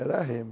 Era remo.